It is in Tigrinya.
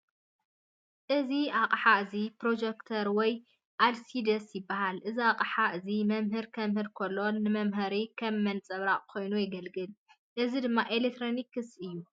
እዚ ኣቅሓ እዚ ፕሮጀክተር ወይ አልሲዲ ይባሃል። እዚ ሓቅሓ እዚ መምህር ከምህር ኮሎ ንመምሃሪ ከም መንፀባረቂ ኮይኑ የግልግል። እዚ ድማ ኤሌክትሪኒክስ እዩ።